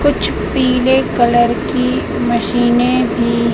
कुछ पीले कलर की मशीनें भी--